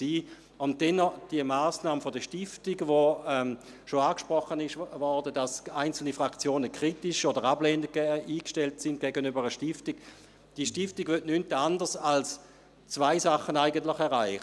Schliesslich zur Massnahme der Stiftung, die bereits angesprochen wurde, wobei einzelne Fraktionen kritisch oder ablehnend gegenüber einer Stiftung eingestellt sind: Diese Stiftung will nichts anderes als eigentlich zwei Dinge erreichen: